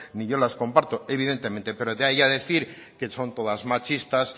ni yo las comparto evidentemente pero de ahí a decir que son todas machistas